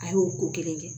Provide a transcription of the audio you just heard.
A y'o ko kelen kɛ